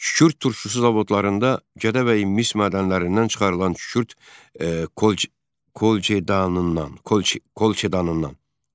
Kükürd turşusu zavodlarında Gədəbəy mis mədənlərindən çıxarılan kükürd kolçedanından.